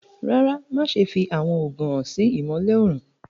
Rárá, má ṣẹ̀ fì awọn oogun hàn sí ìmọ̀lẹ̀ õrùn.